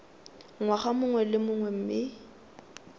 ngwaga mongwe le mongwe mme